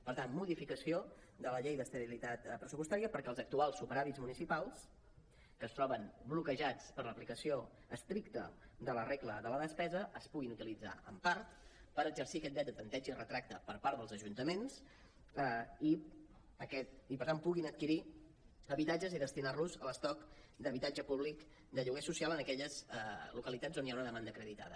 per tant modificació de la llei d’estabilitat pressupostària perquè els actuals superàvits municipals que es troben bloquejats per l’aplicació estricta de la regla de la despesa es puguin utilitzar en part per exercir aquest dret a tempteig i retracte per part dels ajuntaments i per tant puguin adquirir habitatges i destinar los a l’estoc d’habitatge públic de lloguer social en aquelles localitats on hi ha una demanda acreditada